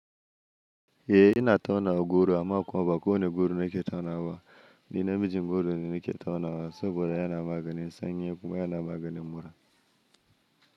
Eh ina tauna goro amma kuwa ba kowane goro ne ke taunawa ba. Ni na mijin goro ne nake taunawa saboda yana maganin sanyi kuma yana maganin mura.